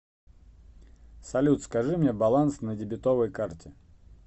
салют скажи мне баланс на дебетовой карте